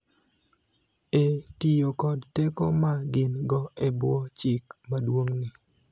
e tiyo kod teko ma gin-go e bwo Chik Maduong�ni.